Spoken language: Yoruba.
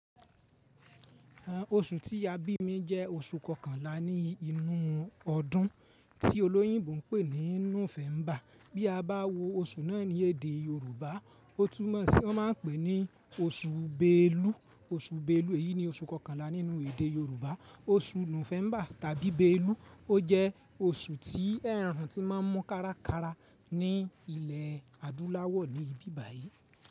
Oṣù tí a bí mi jẹ́ oṣù kọkànlá ní inú ọdún tí olóyìnbo ń pè ní Núfẹ́mbà. Bí a bá wo oṣù náà ní èdè Yorùbá, ó tún mọ̀ sí wọ́n máa ń pè ní oṣù Belu. Oṣù Belu, èyí ni oṣù kọkànlá nínú èdè Yorùbá. Oṣù Núfẹ́mbà tàbí Belu, ó jẹ́ oṣù tí ẹrun ti máa ń mu kárakára ní ilẹ̀ adúláwọ̀ ní bíbàyí.